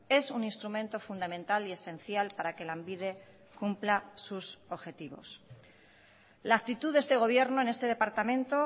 es un instrumento fundamental y esencial para que lanbide cumpla sus objetivos la actitud de este gobierno en este departamento